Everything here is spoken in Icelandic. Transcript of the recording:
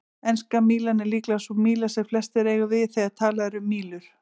Enska mílan er líklega sú míla sem flestir eiga við þegar talað er um mílur.